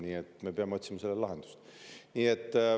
Nii et me peame otsima sellele lahendust.